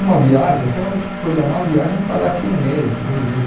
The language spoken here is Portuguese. Uma viagem, eu quero programar uma viagem para daqui a um mês, dois meses.